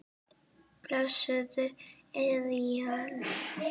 Blessuð Esjan.